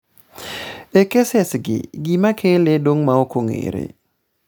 e keses gi, gima kele dong' ma ok ong'ere